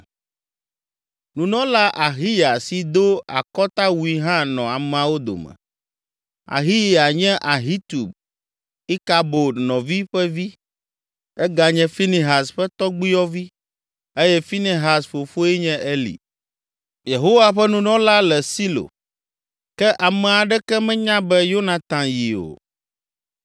Nunɔla Ahiya si do akɔtawui hã nɔ ameawo dome. Ahiya nye Ahitub, Ikabod nɔvi ƒe vi, eganye Finehas ƒe tɔgbuiyɔvi eye Finehas fofoe nye Eli, Yehowa ƒe nunɔla le Silo. Ke ame aɖeke menya be Yonatan yi o.